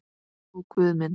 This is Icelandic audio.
Ó Guð minn.